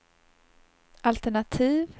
altenativ